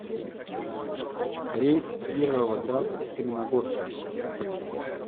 рейс в кировоград из каменногорска